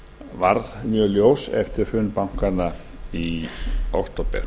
varð mjög ljós eftir hrun bankanna í október